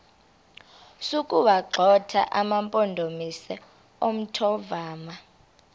sokuwagxotha amampondomise omthonvama